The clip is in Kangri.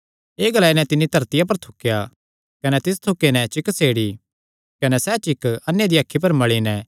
एह़ ग्लाई नैं तिन्नी धरती पर थुकया कने तिस थूके नैं चिक्क सेड़ी कने सैह़ चिक्क अन्ने दियां अखीं पर मल़ी नैं